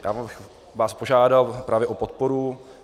Já bych vás požádal právě o podporu.